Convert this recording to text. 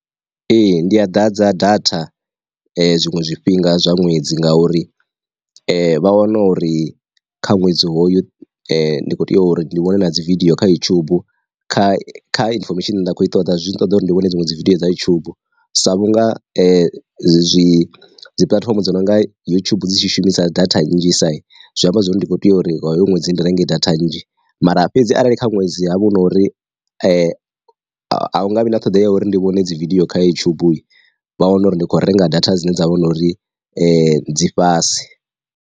Ee ndi a ḓadza data zwiṅwe zwifhinga zwa ṅwedzi ngauri vha wana uri kha ṅwedzi hoyu ndi kho tea uri ndi vhone dzi vidiyo kha YouTube kha kha infomesheni nda kho i ṱoḓa zwi ṱoḓa uri ndi vhone dziṅwe dzividio dza yutshubu. Sa vhunga dzi dzi puḽatifomo dzo nonga yutshubu dzi tshi shumisa data nnzhi sa zwi amba zwori ndi kho tea uri huṅwe dzi ndi renge data nnzhi, mara fhedzi arali kha ṅwedzi ha vha hu na uri a hunga vhi na ṱhoḓea uri ndi vhone dzi vidiyo kha YouTube, vha wana uri ndi khou renga data dzine dza vha na uri dzi fhasi.